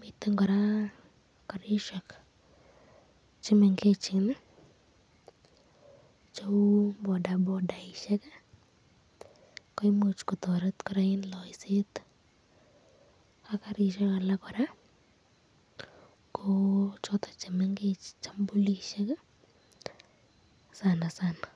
miten koraa karishek chemengecheni cheu bodabodaishek ,imuch kotaret koraa eng playset , choton chemengech chanbulisyek sanasana.